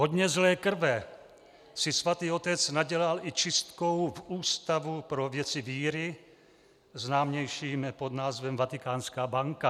Hodně zlé krve si Svatý otec nadělal i čistkou v Ústavu pro věci víry, známějším pod názvem Vatikánská banka.